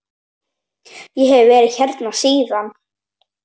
Ég hef verið hérna síðan.